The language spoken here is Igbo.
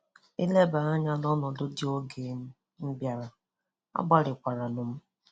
Ị lebaa anya n'ọnọdụ dị oge m um bịara, agbalikwaranụ m